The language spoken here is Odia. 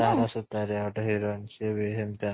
ତାର ସୁତାରୀଆ ଗୋଟେ heroine ବି ସେମିତି ଆ